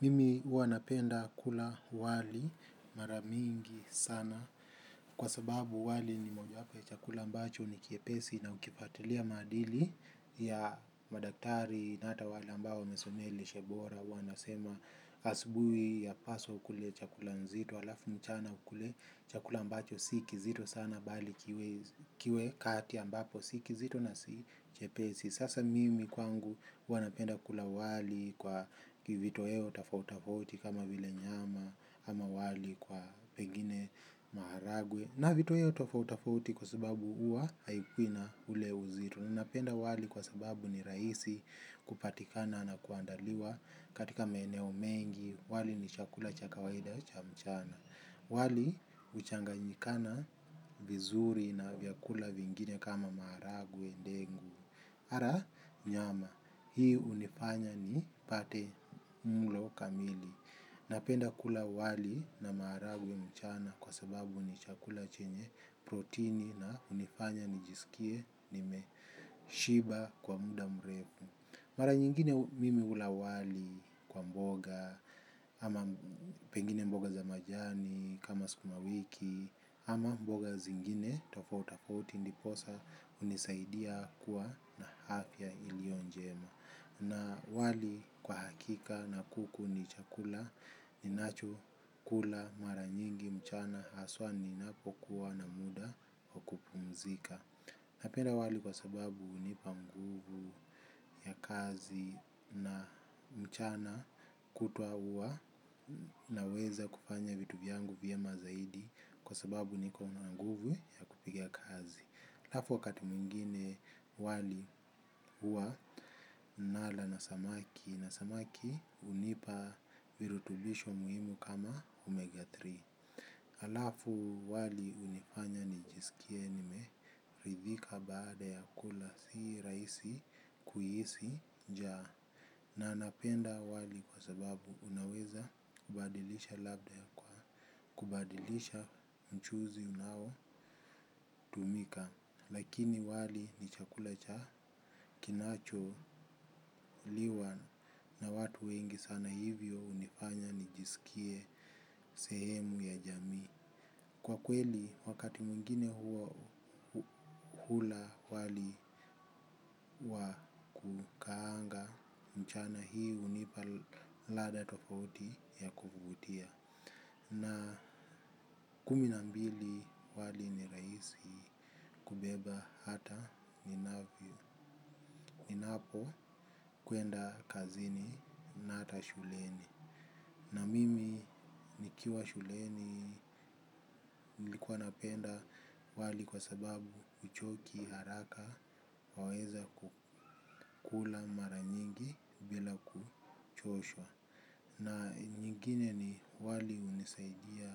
Mimi huwa napenda kula wali maramingi sana kwa sababu wali ni moja hapa ya chakula mbacho ni kiepesi na ukipatilia madili ya madaktari nata wale ambao mesomea lishebora wanasema asibui yapaswa ukule chakula nzito alafu mchana ukule chakula mbacho sikizito sana bali kiwe kati si kizito na kiepesi chepesi. Sasa mimi kwangu wanapenda kula wali kwa kivitoheo tafautafauti kama vile nyama ama wali kwa pengine maharagwe. Na vitoheo tafautafauti kwa sababu uwa haikui na ule uzito. Ninapenda wali kwa sababu ni raisi kupatikana na kuandaliwa katika maeneo mengi. Wali ni chakula cha kawaida cha mchana. Wali uchanganyikana vizuri na vyakula vingine kama maharagwe ndengu. Ara nyama, hii unifanya nipate mulo kamili. Napenda kula wali na maharagwe mchana kwa sababu ni chakula chenye proteini na unifanya nijisikie nimeshiba kwa muda mrefu. Mara nyingine mimi hula wali kwa mboga kama pengine mboga za majani kama sukuma wiki ama mboga zingine tofauti tofauti ndipoza unisaidia kuwa na afya ilio njema. Na wali kwa hakika na kuku ni chakula ni nacho kula mara nyingi mchana aswa ninapokuwa na muda kupumzika. Napenda wali kwa sababu unipa mguvu ya kazi na mchana kutuwa uwa naweza kufanya vitu vyangu vyema zaidi kwasababu niko na guvu ya kupiga kazi. Alafu wakati mwingine wali uwa nala na samaki na samaki unipa virutubisho muhimu kama omega tatu. Alafu wali unifanya nijisikie nimerithika baada ya kula si raisi kuhisi jaa na nanapenda wali kwa sababu unaweza kubadilisha labda ya kwa kubadilisha mchuzi unao tumika lakini wali ni chakula kinacho liwa na watu wengi sana hivyo unifanya nijiskie sehemu ya jamii kwa kweli wakati mwingine hula wali wa kukaanga mchana hii unipa lada tofauti ya kutia. Na kumi nambili wali ni raisi kubeba hata ninavi. Ninapo kuenda kazini na hata shuleni. Na mimi nikiwa shuleni likuwa napenda wali kwa sababu uchoki haraka. Waweza kukula maranyingi bila kuchoshwa. Na nyingine ni wali unisaidia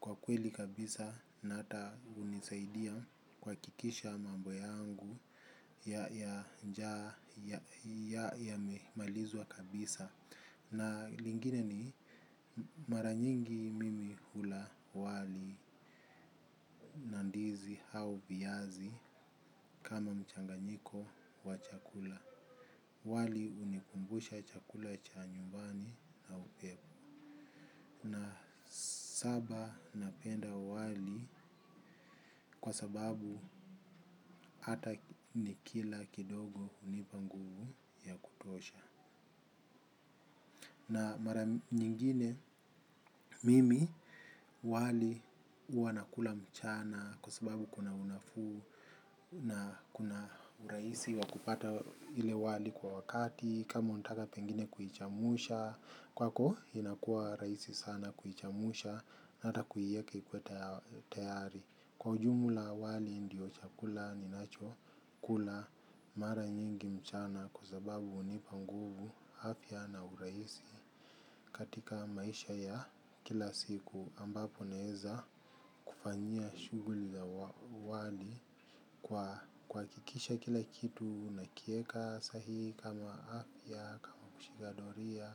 kwa kweli kabisa na ata unisaidia kwa hakikisha mambo yangu ya njaa yamemalizwa kabisa. Na nyingine ni mara nyingi mimi hula wali nandizi hau biazi kama mchanganyiko wa chakula. Wali unikumbusha chakula cha nyumbani na upepu. Na saba napenda wali kwa sababu hata ni kila kidogo unipa nguvu ya kutosha. Na mara nyingine mimi wali huwa nakula mchana kwa sababu kuna unafuu. Na kuna uraisi wakupata ile wali kwa wakati kama unataka pengine kuhichamusha. Kwako inakuwa raisi sana kuhichamusha natakuieke ikuwe tayari. Kwa ujumula wali ndio chakula ni nacho kula mara nyingi mchana kwa sababu unipa nguvu afya na uraisi. Katika maisha ya kila siku ambapo naeza kufanyiaa shuguli ya wali kuhakikisha kila kitu nakieka sahi kama afya kama kushikadoria.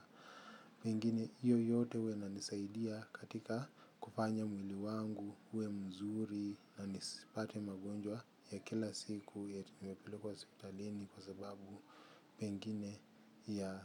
Pengine hiyo yote huwa inanisaidia katika kupanya mwili wangu, huwe mzuri na nisipate magonjwa ya kila siku yakipelekwa hospitalini kwa sababu pengine ya.